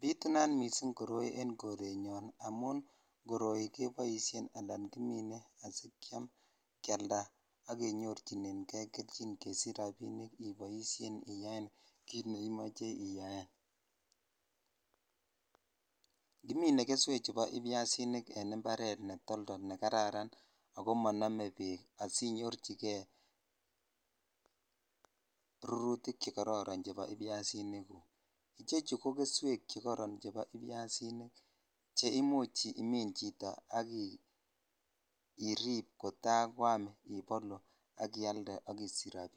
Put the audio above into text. Bitunat missing koroi en forenoon amun koroi keboisien ala kimine asiikyam kyialda ak kenyorchinen kei kelchin kesich rabik iboishen iyaen kit neimoche iyaen (puse )kimine keswechu bo ibyasinik en imparet netoltol negararan ole monome bek asinyorchikei rurutik chekororon chebo ibyasinigug ichechu ko keswek che koron chebo ibyasinik che imuch imin chito akirip kota korur ak ialde ak isich